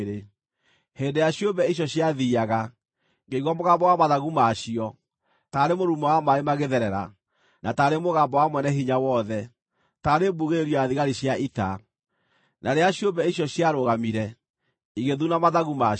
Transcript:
Hĩndĩ ĩrĩa ciũmbe icio ciathiiaga, ngĩigua mũgambo wa mathagu ma cio, taarĩ mũrurumo wa maaĩ magĩtherera, na taarĩ mũgambo wa Mwene-Hinya-Wothe, taarĩ mbugĩrĩrio ya thigari cia ita. Na rĩrĩa ciũmbe icio ciarũgamire, igĩthuna mathagu ma cio.